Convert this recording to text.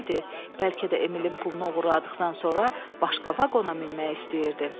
Bəlkə də Emilin pulunu oğurladıqdan sonra başqa vaqona minmək istəyirdi.